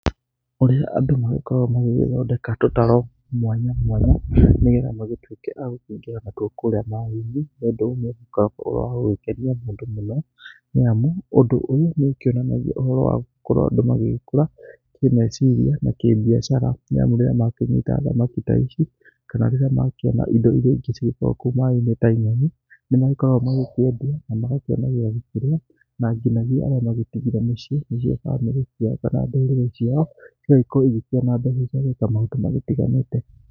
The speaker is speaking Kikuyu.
Kũrĩ andũ magĩkoragwo magĩgĩthondeka tũtarũ mwanya mwanya nĩ getha magĩtuĩke agũkĩingĩra natuo kũrĩa maaĩ-inĩ. Ũndũ ũyũ nĩ ũkoragwo ũrĩ wa gũkenia andũ mũno, nĩ amu ũndũ ũyũ nĩ ũkĩonanagia ũhoro wa gũkorwo andũ magĩgĩkũra kĩmeciria na kĩmbiacara. Nĩ amu rĩrĩa makĩnyita thamaki ta ici kana rĩrĩa makĩona indo iria ingĩ cigĩkoragwo kũu maaĩ-inĩ ta nyoni nĩ makoragwo magĩkĩendia kana magakĩona gĩagũkĩrĩa na nginagia arĩa magĩtigĩre mĩciĩ nĩcio bamĩrĩ ciao kana ndũrĩrĩ ciao, cigagĩkorwo ikĩona mbeca cia gwĩka maũndũ magĩtiganĩte.